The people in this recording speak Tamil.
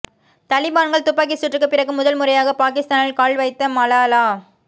தலிபான்கள் துப்பாக்கி சூட்டுக்கு பிறகு முதல் முறையாக பாகிஸ்தானில் கால் வைத்த மலாலா